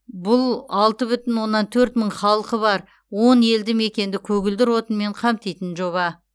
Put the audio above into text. бұл алты бүтін оннан төрт мың халқы бар он елді мекенді көгілдір отынмен қамтитын жоба